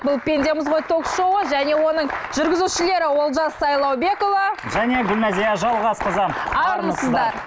бұл пендеміз ғой ток шоуы және оның жүргізушілері олжас сайлаубекұлы және гүлназия жалғасқызы армысыздар